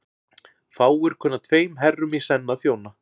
Fáir kunna tveim herrum í senn að þjóna.